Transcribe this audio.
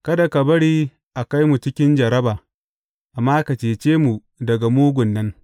Kada ka bari a kai mu cikin jarraba, amma ka cece mu daga mugun nan.